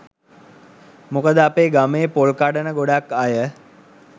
මොකද අපේ ගමේ පොල් කඩන ගොඩක් අය